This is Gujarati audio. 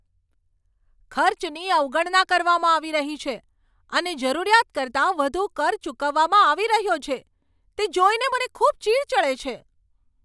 ખર્ચની અવગણના કરવામાં આવી રહી છે અને જરૂરિયાત કરતાં વધુ કર ચૂકવવામાં આવી રહ્યો છે તે જોઈને મને ખૂબ ચીડ ચડે છે.